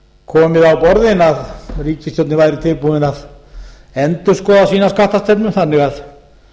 komið á borðin að ríkisstjórnin væri tilbúin að endurskoða sína skattastefnu þannig að